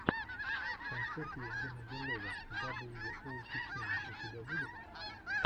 концерт евгена белова дабл ю оу тикино у тебя будет